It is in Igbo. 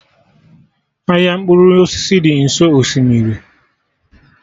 Ahịa mkpụrụ osisi dị nso osimiri